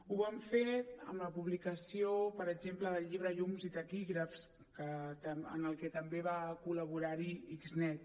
ho vam fer amb la publicació per exemple del llibre llums i taquígrafs en el que també va col·laborar xnet